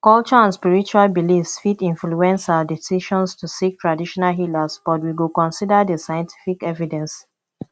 culture and spiritual beliefs fit influence our decisions to seek traditional healers but we go consider di scientific evidence